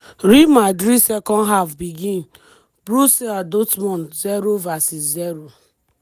real madrid second half begin borussia dortmund 0 vs 0